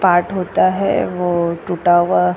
part होता है वो टूटा हुआ --